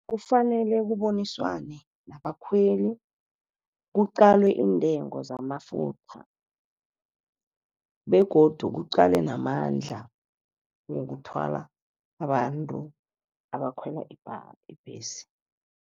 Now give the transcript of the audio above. Kufanele kuboniswane nabakhweli, kuqalwe iintengo zamafutha begodu kuqalwe namandla wokuthwala abantu abakhwela ibhesi.